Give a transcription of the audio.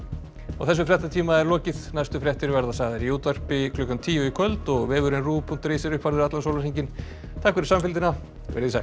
þessum fréttatíma er lokið næstu fréttir verða sagðar í útvarpi klukkan tíu í kvöld og vefurinn ruv punktur is er uppfærður allan sólarhringinn takk fyrir samfylgdina verið þið sæl